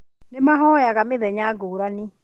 Nĩmahoyaga mĩthenya ngũrani